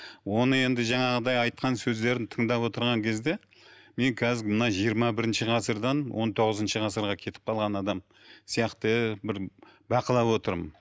оны енді жаңағыдай айтқан сөздерін тыңдап отырған кезде мен қазір мына жиырма бірінші ғасырдан он тоғызыншы ғасырға кетіп қалған адам сияқты бір бақылап отырмын